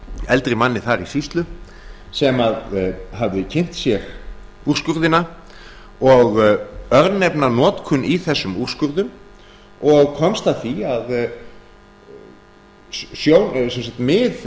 eldri manni þar í sýslu sem hafi kynnt sér úrskurðina og örnefnanotkun í þessum úrskurðum og komst að því að mið